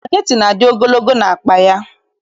Spageti na-adị ogologo n'akpa ya.